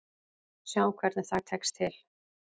Sjáum hvernig það tekst til.